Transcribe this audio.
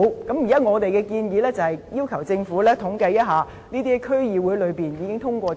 我們現在的建議是要求政府統計這些在區議會內已經動議通過，